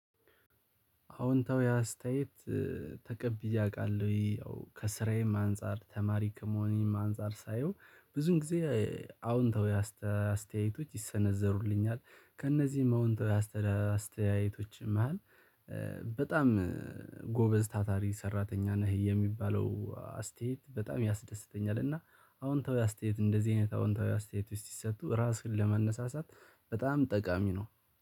አዎንታዊ አስተያየት ተቀብያ አውቃለሁኝ ያው ከስራዬም አንፃር ተማሪ ከመሆኔም አንፃር ሳየው ብዙን ጊዜ አዎንታዊ አስተያየቶች ይሰነዘሩልኛል ከእነዚህም አዎንታዊ አስተያየቶችም መሃል በጣም ጎበዝ ታታሪ ሰራተኛ ነህ የሚባለው አስተያየት በጣም ያስደስተኛል። እና አዎንታዊ አስተያየት እንደዚህ አይነት አዎንታዊ አስተያየት ውስጥ ሲሰጡ ራስን ለማነሳሳት በጣም ጠቃሚ ነው።